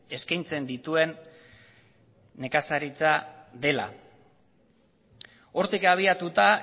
eskaintzen dituen nekazaritza dela hortik abiatuta